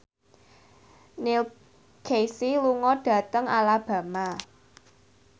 Neil Casey lunga dhateng Alabama